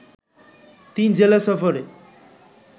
তিন জেলা সফরে